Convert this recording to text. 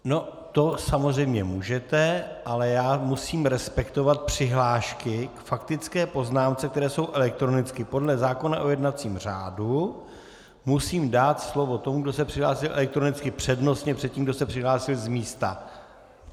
No to samozřejmě můžete, ale já musím respektovat přihlášky k faktické poznámce, které jsou elektronicky, podle zákona o jednacím řádu musím dát slovo tomu, kdo se přihlásí elektronicky, přednostně před tím, kdo se přihlásil z místa.